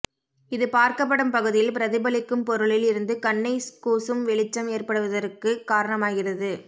இது பார்க்கப்படும் பகுதியில் பிரதிபலிக்கும் பொருளில் இருந்து கண்ணைக் கூசும் வெளிச்சம் ஏற்படுவதற்குக் காரணமாகிறது